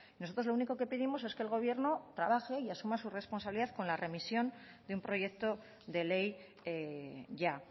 nosotros lo único que pedimos es que el gobierno trabaje y asuma su responsabilidad con la remisión de un proyecto de ley ya